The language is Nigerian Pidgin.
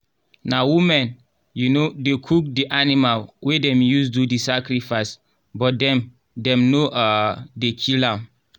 na women um dey cook the animal wey dem use do the sacrifice but dem dem no um dey kill am